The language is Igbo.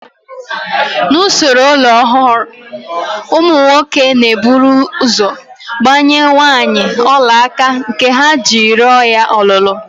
N'usoro ọlọrọọhụụ, ụmụ nwoke na-eburu ụzọ gbanye nwaanyị ọlaaka nke ha ji rịọ ya ọlụlụ